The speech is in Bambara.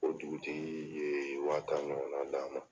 O dugutigi ye wa tan ɲɔgɔn na d'an ma.